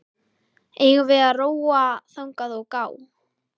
Eigum við að róa þangað og gá?